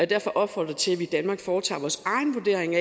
derfor opfordre til at vi i danmark foretager vores egen vurdering